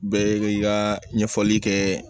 Bɛɛ i ka ɲɛfɔli kɛ